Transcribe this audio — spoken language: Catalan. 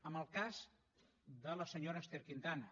en el cas de la senyora ester quintana